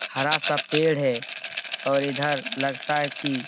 हरा सा पेड़ है और इधर लगता है कि --